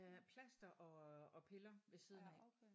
Øh plaster og og piller ved siden af